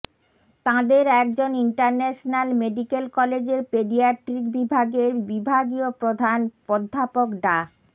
তাঁদের একজন international medical কলেজের পেডিয়াট্রিক বিভাগের বিভাগীয় প্রধান অধ্যাপক ডা